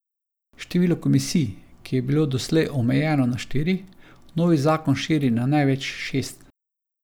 Število komisij, ki je bilo doslej omejeno na štiri, novi zakon širi na največ šest.